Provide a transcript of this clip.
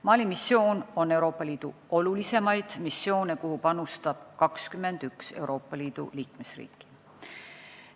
Mali missioon on Euroopa Liidu olulisemaid missioone, kuhu panustab 21 Euroopa Liidu liikmesriiki.